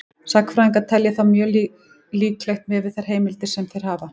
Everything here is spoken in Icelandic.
Sagnfræðingar telja það þó mjög líklegt miðað við þær heimildir sem þeir hafa.